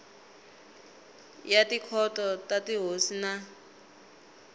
ya tikhoto ta tihosi na